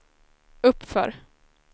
uppför